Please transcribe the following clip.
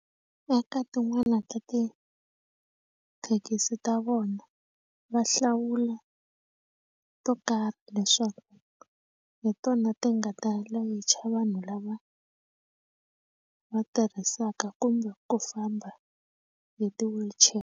Eka tin'wana ta tithekisi ta vona va hlawula to karhi leswaku hi tona ti nga ta layicha vanhu lava va tirhisaka kumbe ku famba hi ti-wheelchair.